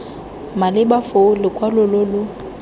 maleba foo lokwalo lo lo